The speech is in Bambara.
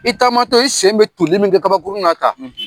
I taamatɔ i sen bɛ tonli min kɛ kabakurun na tan